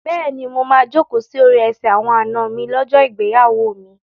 Bẹ́ẹ̀ni, mo máa jókòó sí orí ẹsẹ̀ àwọn àna mi lọ́jọ́ ìgbéyàwó mi.